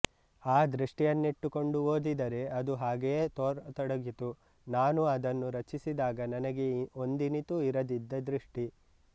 ಆ ದೃಷ್ಟಿಯನ್ನಿಟ್ಟುಕೊಂಡು ಓದಿದರೆ ಅದು ಹಾಗೆಯೆ ತೋರತೊಡಗಿತು ನಾನು ಅದನ್ನು ರಚಿಸಿದಾಗ ನನಗೆ ಒಂದಿನಿತೂ ಇರದಿದ್ದ ದೃಷ್ಟಿ